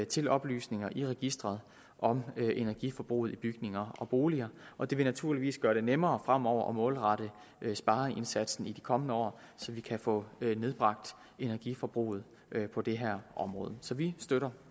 til oplysninger i registeret om energiforbruget i bygninger og boliger og det vil naturligvis gøre det nemmere fremover at målrette spareindsatsen i de kommende år så vi kan få nedbragt energiforbruget på det her område så vi støtter